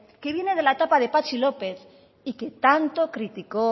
que viene de la etapa de patxi lópez y que tanto criticó